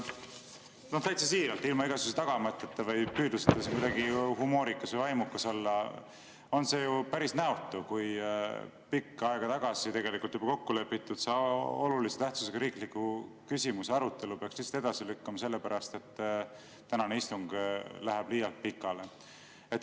Täitsa siiralt, ilma igasuguse tagamõtteta või püüdluseta kuidagi humoorikas või vaimukas olla, see on ju päris näotu, kui juba pikka aega tagasi kokku lepitud olulise tähtsusega riikliku küsimuse arutelu peaks edasi lükkuma sellepärast, et tänane istung läheb liialt pikale.